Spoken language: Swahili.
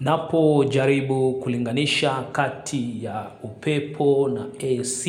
Napo jaribu kulinganisha kati ya upepo na AC,